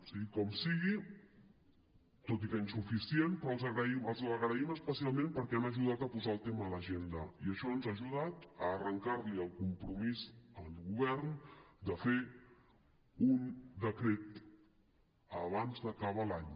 sigui com sigui tot i que insuficient però els l’agraïm especialment perquè han ajudat a posar el tema a l’agenda i això ens ha ajudat a arrencar li el compromís al govern de fer un decret abans d’acabar l’any